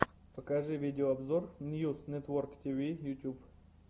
покажи видеообзор ньюс нетворктв ютуб